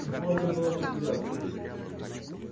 тут можно было потеряться